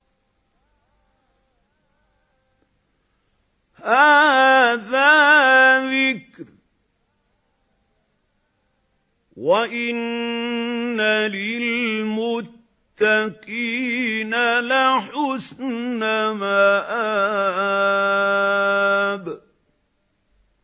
هَٰذَا ذِكْرٌ ۚ وَإِنَّ لِلْمُتَّقِينَ لَحُسْنَ مَآبٍ